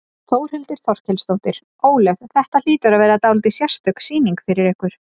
Þórhildur Þorkelsdóttir: Ólöf, þetta hlýtur að vera dálítið sérstök sýning fyrir ykkur?